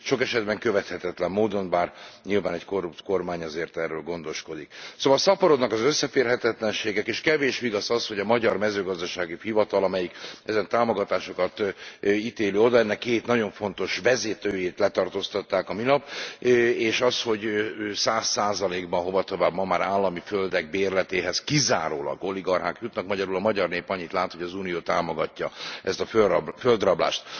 Sok esetben követhetetlen módon, bár nyilván egy korrupt kormány azért erről gondoskodik. Szóval szaporodnak az összeférhetetlenségek, és kevés vigasz az, hogy a magyar Mezőgazdasági Hivatal amelyik e támogatásokat ítéli oda két nagyon fontos vezetőjét letartóztatták a minap, és az, hogy 100 ban hovatovább ma már állami földek bérletéhez kizárólag oligarchák jutnak, magyarul a magyar nép annyit lát, hogy az Unió támogatja ezt a földrablást.